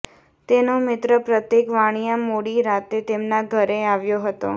તેનો મિત્ર પ્રતીક વાણિયા મોડી રાતે તેમના ઘરે આવ્યો હતો